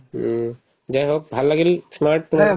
উম, হওক ভাল লাগিল